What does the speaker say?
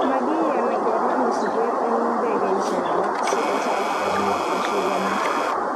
Magiyani kelaa misiget eng ndegeishek alak si kochaakta biik koshugani